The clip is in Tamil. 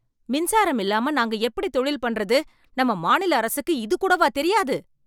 மின்சாரம் இல்லாம நாங்க எப்படி தொழில் பண்றது, நம்ம மாநில அரசுக்கு இது கூடவா தெரியாது?